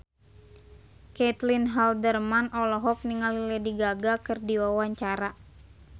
Caitlin Halderman olohok ningali Lady Gaga keur diwawancara